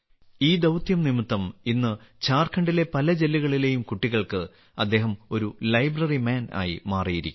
ഈ ദൌത്യം നിമിത്തം ഇന്ന് ഝാർഖണ്ഡിലെ പല ജില്ലകളിലെയും കുട്ടികൾക്ക് അദ്ദേഹം ഒരു ലൈബ്രറി മാൻ ആയി മാറിയിരിക്കുന്നു